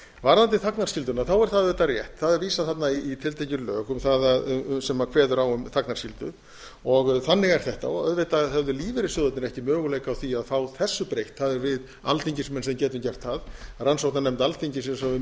varðandi þagnarskylduna er það auðvitað rétt það er vísað þarna í tiltekin lög sem kveða á um þagnarskyldu og þannig er þetta auðvitað höfðu lífeyrissjóðirnir ekki möguleika á því að fá þessu breytt það erum við alþingismenn sem getum gert það rannsóknarnefnd alþingis eins og við